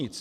Nic.